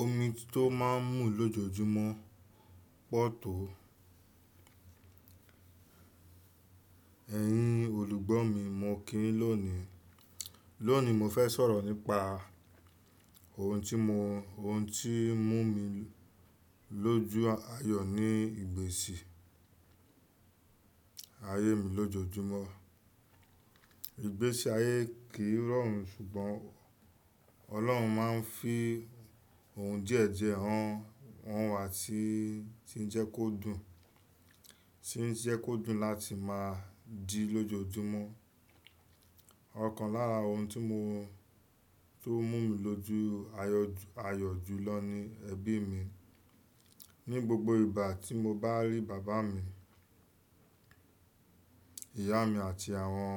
Omi tó máa ń mú lójojúmọ́ pọ̀ tó. Ẹ̀yin olùgbọ́ mi, mo kí yín lónìí. Lónìí, mo fẹ́ sọ̀rọ̀ nípa ohun tí mú mi lójú ayọ̀ ní ìgbésì ayé mi lójoojúmọ́. Ìgbésì ayé kì í rọrùn ṣùgbọ́n Ọlọ́run máa ń fi ohun jíẹ̀jẹ̀ hàn wá tí ń jẹ́ kó dùn, tí ń jẹ́ kó dùn láti máa dì lójojúmọ́. Ọ̀kan lára ohun tí ó mú mi lójú ayọ̀ jùlọ ni ẹbí mi. Ni gbogbo ìgbà tí mo bá rí bàbá mi, ìyá mi àti àwọn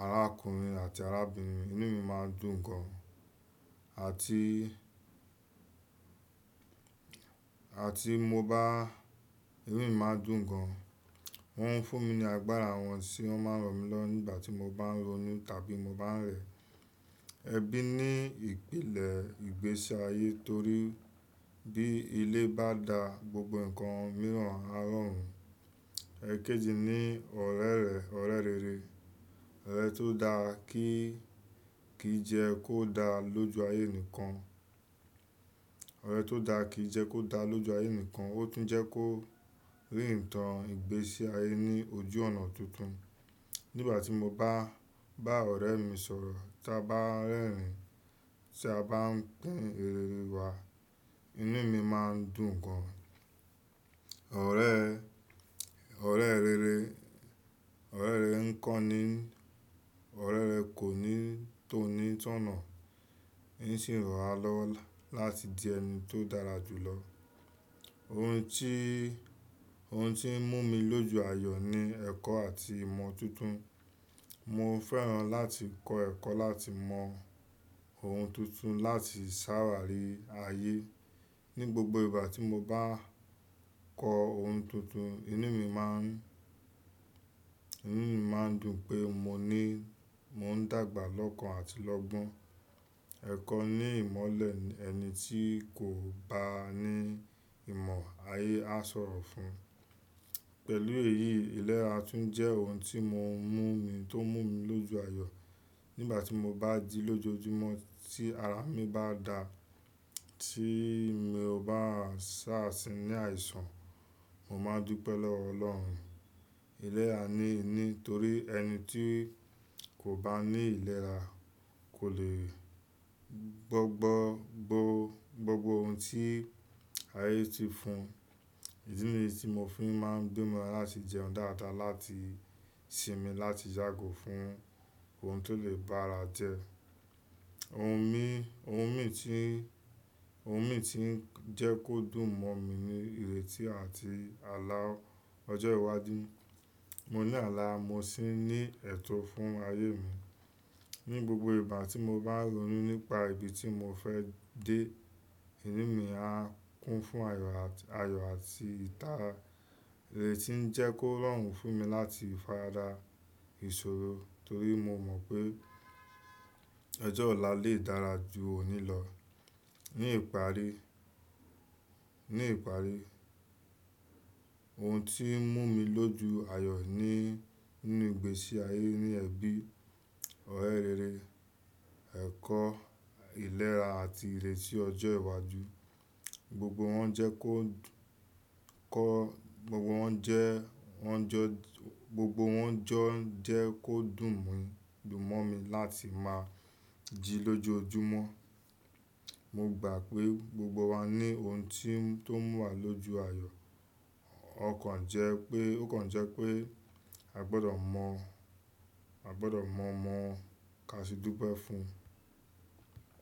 arákùnrin àti arábìnrin, inú mi máa n dùn gan. Àti, àti mo bá, inú mi máa dùn gan. Wọ́n ń fún mi ní agbára wọn tí wọ́n máa ń ràn mí lọwo nígbà tí mo bá ń ronú tàbí mo bá ń rẹ̀. Ẹbí ní ìpìlẹ̀ ìgbésì ayé torí bí ilé bá da gbogbo ǹkan mìíràn á rọrùn. Ẹ̀kéjì ni ọ̀rẹ́ rẹ, ọ̀rẹ́ rere. Ọ̀rẹ́ tó da kì í jẹ kó da lójú ayé nìkan. Ọ̀rẹ́ tó da kì í jẹ kó da lójú ayé nìkan, ó tún jẹ́ kó rí ìtàn ìgbésì ayé ní ojú ọ̀nà tuntun. Nígbà tí mo bá, bá ọ̀rẹ́ mi sọ̀rọ̀, ta bá ń rẹ́rìn-ín, ti a bá ń pín rère nu wa, inú mi máa ń dùn gan. Ọ̀rẹ́, ọ̀rẹ́ rere, ọ̀rẹ́ rere ń kọ́ni, ọ̀rẹ́ rẹ kò ní tó ní ìtọ̀nà, ń sì ràn wá lọ́wọ́ láti di ẹni tó dára jùlọ. Ohun tí, ohun tí ń mú mi lójú ayọ̀ ni ẹ̀kọ́ àti ìmọ̀ tuntun. Mo fẹ́ràn láti kọ́ ẹ̀kọ́ láti mọ ohun tuntun láti sára rí ayé. Ni gbogbo ìgbà tí mo bá kọ́ ohun tuntun, inú mi máa ń, inú mi máa ń dùn pé mo ní, mo ń dàgbà lọ́kàn àti lọ́gbọ́n. Ẹ̀kọ́ ní ìmọ́lẹ̀ ẹni tí kò bá ní ìmọ̀ ayé á sọ̀rọ̀ fún. Pẹ̀lú èyí, ìlera tún jẹ́ ohun tí mọ mú mi tó mú mi lójú ayọ̀. Nígbà tí mo bá di lójoojúmọ́ tí ara mi bá da, tí mio bá ṣàá tìn ní àìsàn, mo máa ń dùpẹ́ lọ́wọ́ Ọlọ́run. Ìlera ni nítorí ẹni tí kò bá ní ìlera kò lè gbọ́ gbogbo ohun tí ayé ti fún un. Ìdí ni ti mo fi máa ń gbi mọ láti jẹun dáadáa láti sinmi láti yágò fún ohun tí ó lè bá ara jẹ. Ohun mi, ohun mi tí ń, ohun mi tí ń jẹ́ kó dùn mọ́ mi ni ìrètí àti àlá ọjọ́ iwájú. Mo ní àlá, mo sì ní ẹ̀tọ́ fún ayé mi. Ni gbogbo ìgbà tí mo bá ronú nípa ibi tí mo fẹ́ dé, inú mi á kún fún ayọ̀ àti ìtàra ré tí ń jẹ́ kó rọrùn fún mi láti farada ìṣòro torí mo mọ̀ pé ọjọ́ ọ̀la lè dára ju òní lọ. Ni ìparí, ni ìparí, ohun tí ń mú mi lójú ayọ̀ ni nínú ìgbésì ayé ni ẹbí, ọ̀rẹ́ rere, ẹ̀kọ́, ìlera àti ìrètí ọjọ́ iwájú. Gbogbo wọn jẹ́ kó ko, gbogbo wọn jẹ́, wọn jọ, gbogbo wọn jọ jẹ́ kó dùn mi, dùn mọ́ mi láti máa jì lójoojúmọ́. Mo gbà pé gbogbo wa ní ohun tí tó ń mú wa lójú ayọ̀. Ó kàn jẹ́ pé, ó kàn jẹ́ pé a gbọdọ̀ mọ̀, a gbọdọ̀ ma mọ̀ọ́ kasidúbẹ́ fún un.